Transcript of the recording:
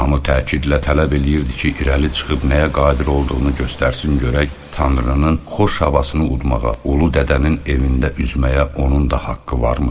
Hamı təkidlə tələb eləyirdi ki, irəli çıxıb nəyə qadir olduğunu göstərsin görək Tanrının xoş havasını udmağa, Ulu Dədənin evində üzməyə onun da haqqı varmı?